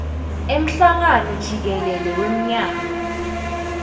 emhlangano jikelele wemnyaka